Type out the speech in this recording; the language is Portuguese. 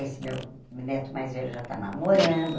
Esse meu neto mais velho já está namorando.